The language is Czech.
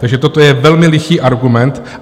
Takže toto je velmi lichý argument.